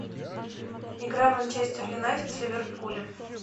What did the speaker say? игра манчестер юнайтед с ливерпулем